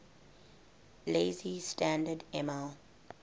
lazy standard ml